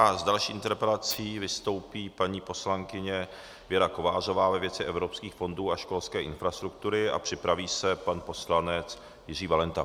A s další interpelací vystoupí paní poslankyně Věra Kovářová ve věci evropských fondů a školské infrastruktury a připraví se pan poslanec Jiří Valenta.